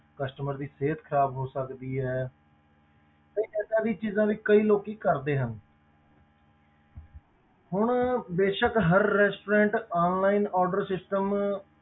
Customer ਦੀ ਸਿਹਤ ਖ਼ਰਾਬ ਹੋ ਸਕਦੀ ਹੈ ਤੇ ਏਦਾਂ ਦੀ ਚੀਜ਼ਾਂ ਵੀ ਕਈ ਲੋਕੀ ਕਰਦੇ ਹਨ ਹੁਣ ਬੇਸ਼ਕ ਹਰ restaurantonline order system order